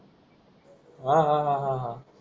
आह